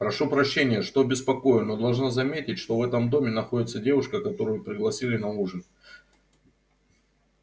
прошу прощения что беспокою но должна заметить что в этом доме находится девушка которую пригласили на ужин